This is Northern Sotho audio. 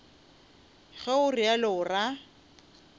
ge o realo o ra